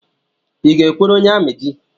I ga-ekwere onye amị di?